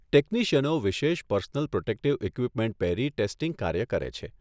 ટેકનીશયનો વિશેષ personal protective equipment પહેરી testing કાર્ય કરે છે.